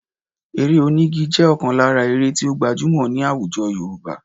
Eré onígi jẹ́ ọ̀kan lára eré tí ó gbajúmọ̀ ní àwùjọ Yorùbá